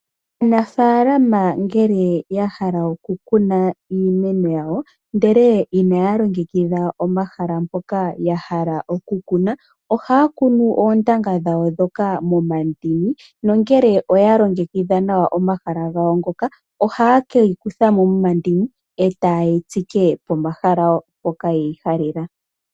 Aanafaalama ngele yahala oku kuna iimeno yawo ndele inaya longekidha omahala mpoka yahala oku kuna . Ohaya kunu oontanga dhawo ndhoka momandini . Nongele oya longekidha nawa omahala gawo ngoka ohaye keyi kuthamo momandini eta ye yi tsike pomahala mpoka ye yi halela.